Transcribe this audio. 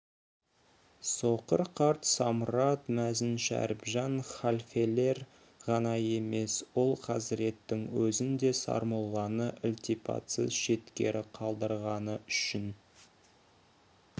соқыр қарт самұрат мәзін шәріпжан халфелер ғана емес ол хазіреттің өзін де сармолланы ілтипатсыз шеткері қалдырғаны үшін